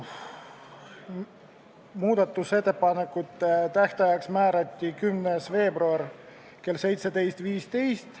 Muudatusettepanekute tähtajaks määrati 10. veebruar kell 17.15.